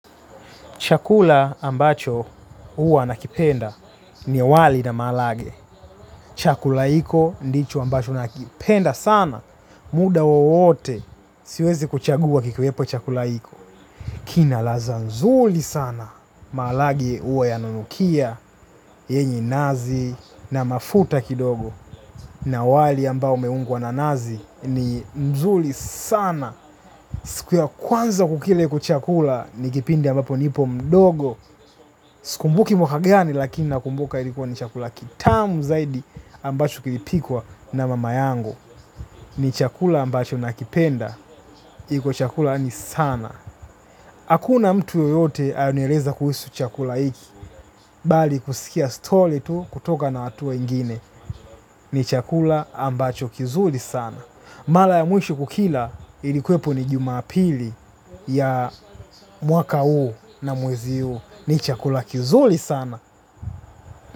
Chakula ambacho huwa nakipenda ni wali na maharagwe. Chakula hiko ndicho ambacho nakipenda sana. Muda wowote siwezi kuchagua kikuwepo chakula hiko. Kina ladha nzuri sana. Malage huwa yananukia yenye nazi na mafuta kidogo. Na wali ambao meungwa na nazi ni nzuli sana. Siku ya kwanza kukila hiko chakula ni kipindi ambapo nipo mdogo. Sikumbuki mwaka gani lakini nakumbuka ilikuwa ni chakula kitamu zaidi ambacho kilipikwa na mama yangu. Ni chakula ambacho nakipenda. Iko chakula ni sana. Hakuna mtu yoyote aliyonieleza kuhusu chakula hiki. Bali kusikia story tu kutoka na hatua ingine. Ni chakula ambacho kizuli sana. Mara ya mwisho kukila ilikuwepo ni jumapili ya mwaka huu na mwezi huu. Ni chakula kizuri sana.